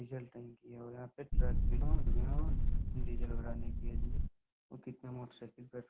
diesel टंकी है और यहाँ पे ट्रक विनोद विनोद डीजल भराने के लिए और कितना मोटरसाइकिल पेट्रोल --